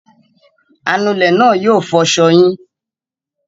Anulẹ̀ náà yóò fọṣọ yín.